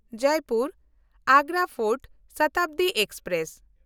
Jaipur-Agra fort Shatabdi express